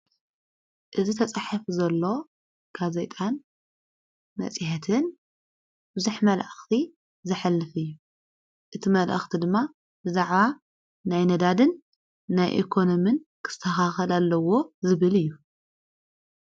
እዝ ተጽሒፍ ዘሎ ካዘይጣን ነጺሐትን ውዙኅ መልእኽቲ ዘኅልፍ እዩ እቲ መልእኽቲ ድማ ብዛዕዋ ናይ ነዳድን ናይ የኮኖምን ክተኻኸል ኣለዎ ዝብል እዩ።